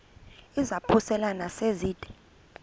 izaphuselana se zide